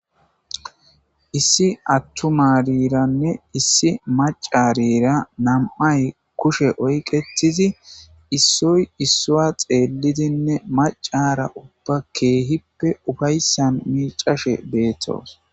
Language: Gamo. issi attmariranne issi macarira nam7ay kushe oyqettizi issoy issua xeellidinne macara ubba keehippe ufayssan miicashe beettoosona